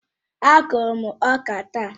Á kụrụ m ọka taa